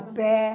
A pé.